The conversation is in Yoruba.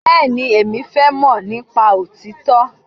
Bẹ́ẹ̀ni, Èmi fẹ́ mọ̀ nípa òtítọ́.